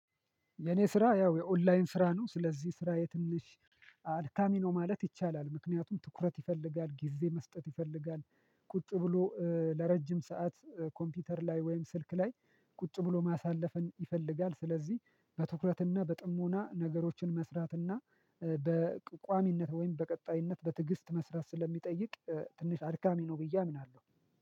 የኔ ስራ ያው የኦንላይን ስራ ነው ስለዚህ ስራ የትንሽ አደካሚ ነው ማለት ይቻላል። ምክንያቱም ትኩረት ይፈልጋል፣ ጊዜ መስጠት ይፈልጋል፣ ቁጭ ብሎ ለረጅም ሰዓት ኮምፒውተር ላይ ወይም ስልክ ላይ ቁጭ ብሎ ማሳለፍን ይፈልጋል ስለዚህ በትኩረትና በጥሞና ነገሮችን መስራትና ወይም በቀጣይነት በትዕግስት መስራት ስለሚጠይቅ ትንሽ አድካሚ ነው። ብዬ አምናለሁ